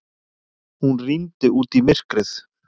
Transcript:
Hún rýndi út í myrkrið.